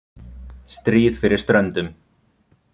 Stríð fyrir ströndum.